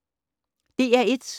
DR1